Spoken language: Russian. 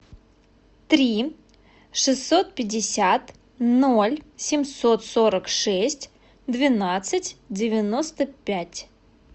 три шестьсот пятьдесят ноль семьсот сорок шесть двенадцать девяносто пять